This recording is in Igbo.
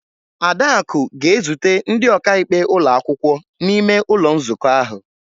Adaku ga-ezute ndị ọkaikpe ụlọ akwụkwọ n'ime ụlọ nzukọ ahụ.